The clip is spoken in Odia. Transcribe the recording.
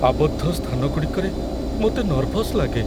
ଆବଦ୍ଧ ସ୍ଥାନଗୁଡ଼ିକରେ ମୋତେ ନର୍ଭସ୍ ଲାଗେ।